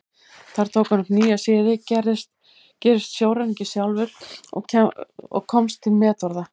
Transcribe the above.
Þar tók hann upp nýja siði, gerist sjóræningi sjálfur og komst til metorða.